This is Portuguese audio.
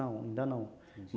Não, ainda não.